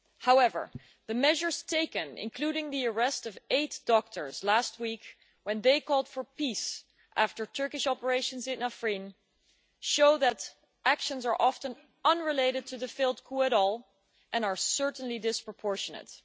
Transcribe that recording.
However, the measures taken, including the arrest of eight doctors last week when they called for peace after Turkish operations in Afrin, show that actions taken are often entirely unrelated to the failed coup and are certainly disproportionate.